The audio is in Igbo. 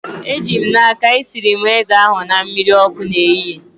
Eji m n'aka, esiri m ede ahu na mmiri ọkụ n'ehihie